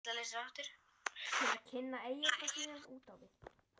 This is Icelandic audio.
til að kynna eyjarnar sínar út á við?